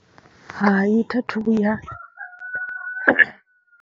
Hai, tha thi vhuya.